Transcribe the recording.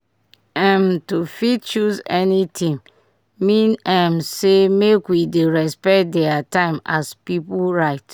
um to fit choose anything mean um say make we dey respect dier time as pipu right